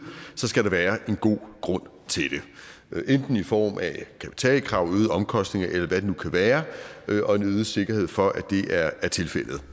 skal der være en god grund til det enten i form af kapitalkrav øgede omkostninger eller hvad det nu kan være og en øget sikkerhed for at det er tilfældet